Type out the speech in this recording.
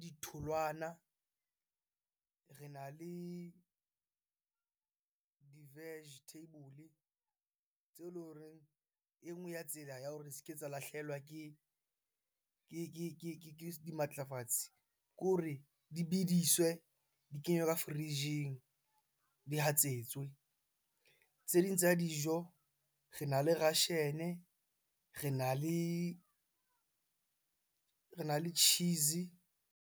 Ditholwana rena le di-vegetable tseo ele horeng e nngwe ya tsela ya hore se ke tsa lahlehelwa ke dimatlafatsi ke hore di bidiswe, di kenywe ka fridge-ing di hatsetswe. Tse ding tsa dijo, rena le russian, rena le cheese.